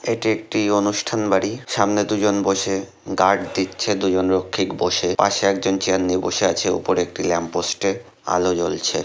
এটি একটি অনুষ্ঠান বাড়ি সামনে দুজন বসে গার্ড দিচ্ছে দুজন রক্ষিক বসে পাশে একজন চেয়ার নিয়ে বসে আছে উপরে একটি ল্যাম্পপোস্টে আলো জ্বলছে।